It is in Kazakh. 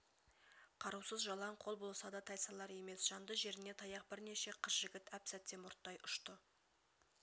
қарусыз жалаң қол болса да тайсалар емес жанды жеріне таяқ бірнеше қыз-жігіт әп-сәтте мұрттай ұшты